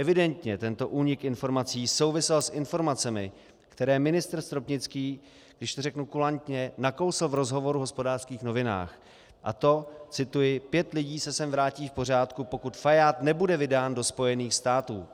Evidentně tento únik informací souvisel s informacemi, které ministr Stropnický, když to řeknu kulantně, nakousl v rozhovoru v Hospodářských novinách, a to - cituji: Pět lidí se sem vrátí v pořádku, pokud Fajád nebude vydán do Spojených států.